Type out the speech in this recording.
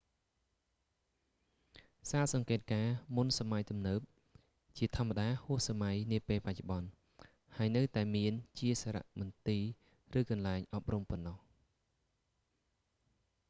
សាលសង្កេតការណ៍មុនសម័យទំនើបជាធម្មតាហួសសម័យនាពេលបច្ចុប្បន្ន ហើយនៅតែមានជាសារមន្ទីរឬកន្លែងអប់រំប៉ុណ្ណោះ